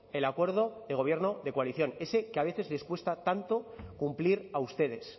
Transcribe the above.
de gobierno de coalición ese que a veces les cuesta tanto cumplir a ustedes